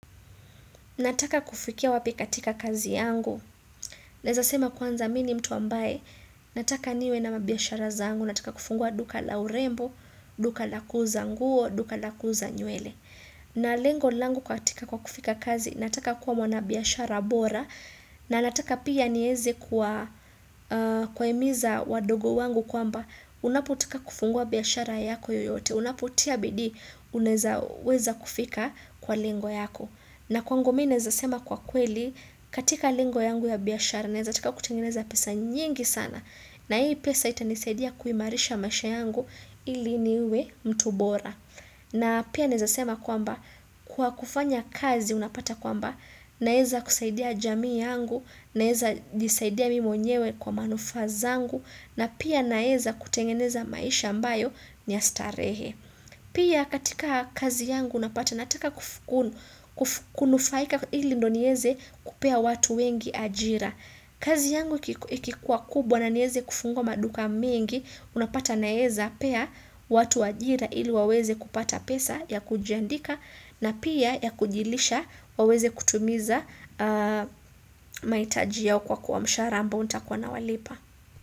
Nataka kufikia wapi katika kazi yangu? Naeza sema kwanza mimi ni mtu ambaye, nataka niwe na biashara zangu, nataka kufungua duka la urembo. Duka la kuuza nguo, duka la kuuza nywele. Na lengo langu katika kwa kufika kazi, nataka kuwa mwanabiashara bora, na nataka pia nieze kuwahimiza wadogo wangu kwamba, unapotaka kufungua biashara yako yoyote, unapotia bidii, unaeza weza kufika kwa lengo yako. Na kwangu mimi naeza sema kwa kweli, katika lingo yangu ya biashara naeza taka kutengeneza pesa nyingi sana, na hii pesa itanisaidia kuimarisha masha yangu ili niwe mtu bora. Na pia naeza sema kwamba, kwa kufanya kazi unapata kwamba, naeza kusaidia jamii yangu, naeza jisaidia mimi mwenyewe kwa manufaa zangu na pia naeza kutengeneza maisha ambayo ni ya starehe. Pia katika kazi yangu unapata nataka kunufaika ili ndio nieze kupea watu wengi ajira. Kazi yangu ikikuwa kubwa na nieze kufungwa maduka mengi, unapata naeza pea watu ajira ili waweze kupata pesa ya kujiandika na pia ya kujilisha waweze kutumiza maitaji yao kwa mshahara ambao nitakuwa nawalipa.